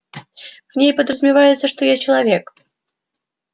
в ней подразумевается что я человек